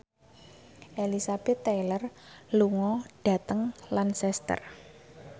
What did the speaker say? Elizabeth Taylor lunga dhateng Lancaster